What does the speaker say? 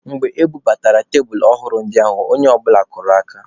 Mgbe e bubatara tebulu ọhụrụ ndị ahụ, onye ọbụla kụrụ aka.